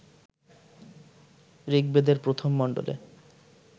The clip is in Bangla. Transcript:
ঋগ্বেদের প্রথম মণ্ডলে